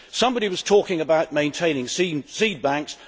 Somebody was talking about maintaining seed banks.